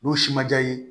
N'u si ma diya i ye